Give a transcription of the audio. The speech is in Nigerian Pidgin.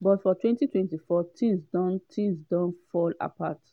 but for 2024 tins don tins don fall apart.